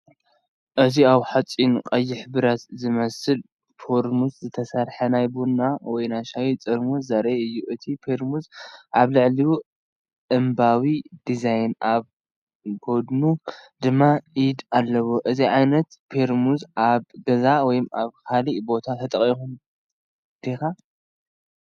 እዚ ካብ ሓጺንን ቀይሕ ብረት ዝመስል ፔርሙዝ ዝተሰርሐ ናይ ቡን ወይ ሻሂ ፔርሙዝ ዘርኢ እዩ። እቲ ፔርሙዝ ኣብ ልዕሊኡ ዕምባባዊ ዲዛይን ኣብ ጎድኑ ድማ ኢድ ኣለዎ። እዚ ዓይነት ፔርሙዝኣብ ገዛኻ ወይ ኣብ ካልእ ቦታ ተጠቒምካሉ ዲኻ?